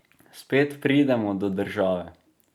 Spet pridemo do države.